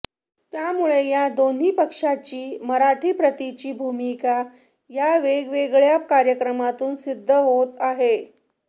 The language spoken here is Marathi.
त्यामुळे या दोन्ही पक्षांची मराठी प्रतीची भूमिका या वेगवेगळ्या कार्यक्रमातून सिद्ध होत आहे